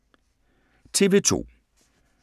TV 2